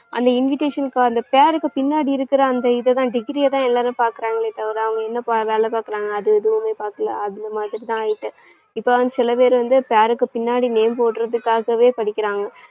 அந்த invitation க்கு அந்த பேருக்கு பின்னாடி இருக்குற அந்த இத தான் degree அ தான் எல்லாரும் பாக்குறாங்களே தவிர அவங்க என்ன பா~ வேலை பாக்குறாங்க அது எதுவுமே பாக்கல. அந்த மாதிரிதான் ஆயிட்டு. இப்ப வந்து சில பேர் வந்து பேருக்கு பின்னாடி name போடுறதுக்காகவே படிக்கிறாங்க.